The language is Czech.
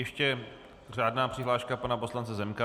Ještě řádná přihláška pana poslance Zemka.